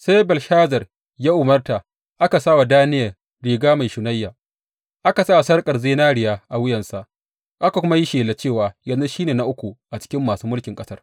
Sai Belshazar ya umarta, aka sa wa Daniyel riga mai shunayya, aka sa sarƙar zinariya a wuyansa, aka kuma yi shela, cewa yanzu shi ne na uku a cikin masu mulkin ƙasar.